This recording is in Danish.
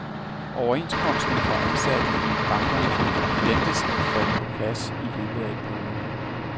Overenskomsten for ansatte i bankerne ventes at falde på plads i løbet af et par uger.